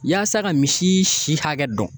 Yaasa ka misi si hakɛ dɔn